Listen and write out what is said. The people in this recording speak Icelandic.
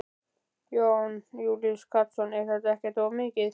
Jón Júlíus Karlsson: Er þetta ekkert of mikið?